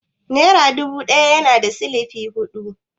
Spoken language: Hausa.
Nera dubu ɗaya na da sifili hudu?